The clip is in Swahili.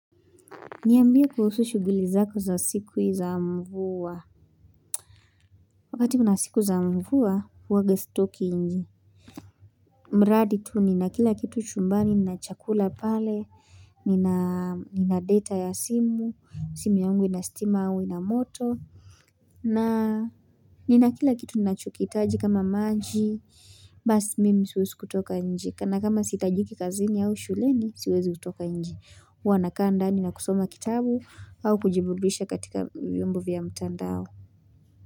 Niambie kuhusu shuguli zako za siku za mvua. Wakati kuna siku za mvua, uaga stoki inje. Mradi tu nina kila kitu chumbani na chakula pale, nina data ya simu, simu yangu ina stima au ina moto. Na nina kila kitu ninacho kiitaji kama maji, basi mimi siwezi kutoka inje. Kana kama siitajiki kazini au shuleni siwezi kutoka inje huwa nakaa ndani na kusoma kitabu au kujiburudisha katika vyombo vya mtandao.